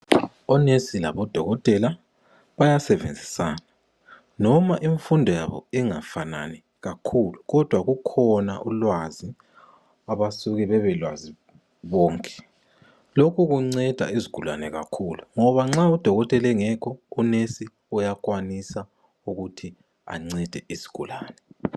Onesi labodokotela bayasebenzisana. Noma imfundo yabo ingafanani kakhulu kodwa kukhona ulwazi abasuke bebelwazi bonke. Lokhu kunceda izigulane kakhulu ngoba nxa udokotela engekho unesi uyakwanisa ukuthi ancede izigulane.